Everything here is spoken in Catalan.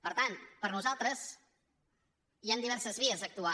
per tant per nosaltres hi han diverses vies d’actuar